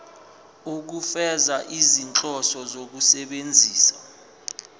ukufeza izinhloso zokusebenzisa